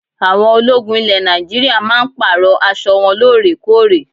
Àwọn ológun ilẹ̀ Nàìjíríà máa ń Pààrọ̀ aṣọ wọn lóorekóòrè